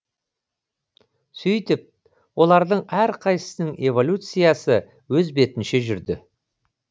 сөйтіп олардың әрқайсысының эволюциясы өз бетінше жүрді